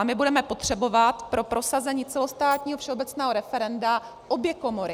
A my budeme potřebovat pro prosazení celostátního všeobecného referenda obě komory.